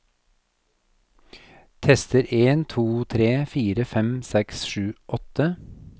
Tester en to tre fire fem seks sju åtte